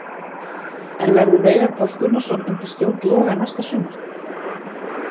En verður Veigar Páll Gunnarsson undir stjórn Loga næsta sumar?